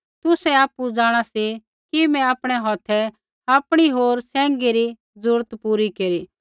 तुसै आपु जाँणा सी कि मैं आपणै हौथै आपणी होर सैंघी री ज़रूरता पूरी केरी